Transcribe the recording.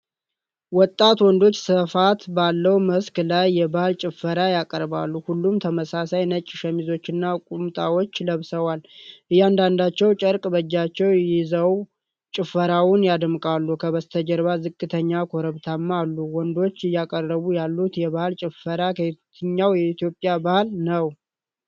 ወጣት ወንዶች ስፋት ባለው መስክ ላይ የባህል ጭፈራ ያቀርባሉ። ሁሉም ተመሳሳይ ነጭ ሸሚዞችንና ቁምጣዎችን ለብሰዋል። እያንዳንዳቸው ጨርቅ በእጃቸው ይዘው ጭፈራውን ያደምቃሉ። ከበስተጀርባ ዝቅተኛ ኮረብታዎች አሉ። ወንዶቹ እያቀረቡ ያሉት የባህል ጭፈራ ከየትኛው የኢትዮጵያ ባህል ነው?